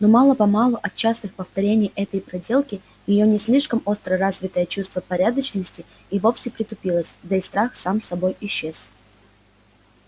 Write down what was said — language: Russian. но мало-помалу от частых повторений этой проделки её не слишком остро развитое чувство порядочности и вовсе притупилось да и страх сам собой исчез